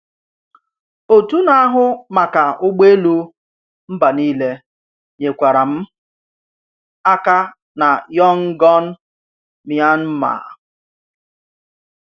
Òtù Nà-àhụ́ Màkà Ụ̀gbòèlù Mbà Nílé nyékwàrā m̀ àkà nà Yọngọ̀n, Mìànmàà.